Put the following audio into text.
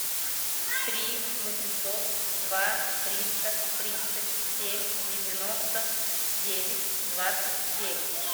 три восемьсот два триста тридцать семь девяносто девять двадцать девять